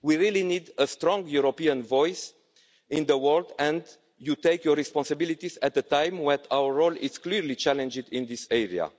We really need a strong European voice in the world and you take up your responsibilities at a time when our role is clearly challenged in this area.